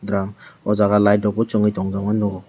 drum oh jaga light rokbo chungui tongjama nukjakgo.